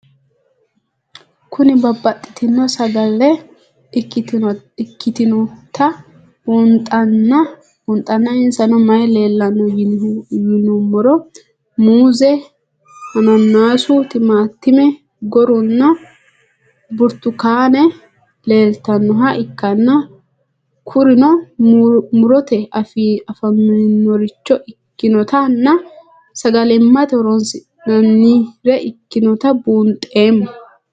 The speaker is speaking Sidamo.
Kuni babaxitino sagale ikitinotna bunxana insano mayi leelanno yinumaro muuze, hanannisu, timantime, gooranna buurtukaane leelitoneha ikanna kurino murote afi'nemoricho ikinotana sagalimate hooronsinanire ikinota buunxemo?